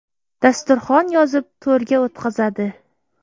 Dasturxon yozib, to‘rga o‘tqazadi.